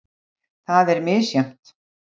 Það er misjafnt.